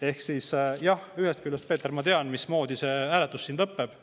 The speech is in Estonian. Ehk siis jah, ühest küljest, Peeter, ma tean, mismoodi see hääletus siin lõpeb.